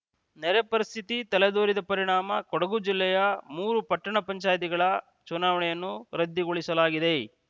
ನೆರೆ ಪರಿಸ್ಥಿತಿ ತಲೆದೋರಿದ ಪರಿಣಾಮ ಕೊಡಗು ಜಿಲ್ಲೆಯ ಮೂರು ಪಟ್ಟಣ ಪಂಚಾಯಿತಿಗಳ ಚುನಾವಣೆಯನ್ನು ರದ್ದುಗೊಳಿಸಲಾಗಿದೆ